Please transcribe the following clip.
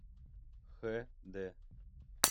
хд